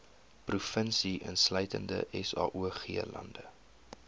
provinsie insluitende saoglande